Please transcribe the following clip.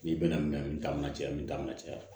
N'i bɛna minɛn min t'an na cɛya min t'an ka cɛya